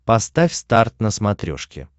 поставь старт на смотрешке